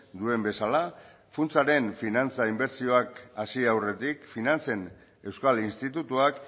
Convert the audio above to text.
duen bezala funtsaren finantza inbertsioak hasi aurretik finantzen euskal institutuak